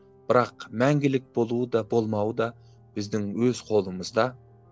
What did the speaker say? бірақ мәңгілік болуы да болмауы да біздің өз қолымызда